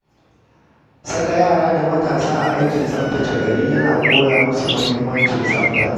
Saka yara da matasa a aikin tsaftace gari yana koya musu muhimmancin tsafta.